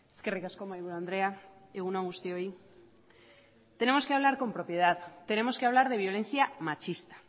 eskerrik asko mahaiburu andrea egun on guztioi tenemos que hablar con propiedad tenemos que hablar de violencia machista